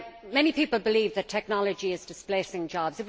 Many people believe that technology is displacing jobs.